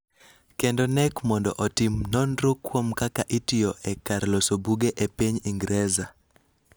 kendo KNEC mondo otim nonro kuom kaka itiyo e kar loso buge e piny Ingresa.